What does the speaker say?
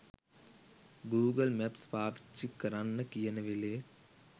Google Maps පාවිච්චි කරන්න කියන වෙලේ